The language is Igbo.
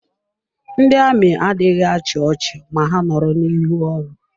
Ndị amị adịghị achị ọchị ma ha nọrọ n'iru ọrụ.